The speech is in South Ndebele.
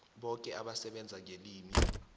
boke abasebenza ngelimi